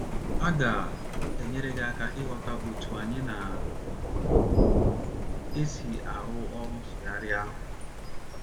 a ga - enyere gị aka ịghọta otú anyị na - esi arụ ọrụ nsụgharị ahụ.